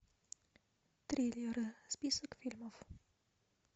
триллеры список фильмов